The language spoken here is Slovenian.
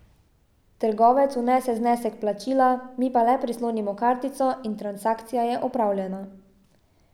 Trgovec vnese znesek plačila, mi pa le prislonimo kartico in transakcija je opravljena.